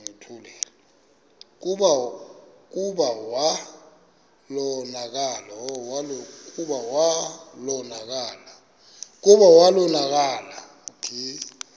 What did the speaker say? kclta wa konakala